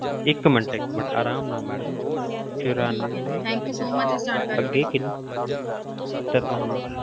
ਇੱਕ ਮਿੰਟ ਇੱਕ ਮਿੰਟ ਆਰਾਮ ਨਾਲ madam ਚੁਰਾਨਵੇਂ ਅੱਗੇ ਕਿੰਨਾ ਤਰਾਨ~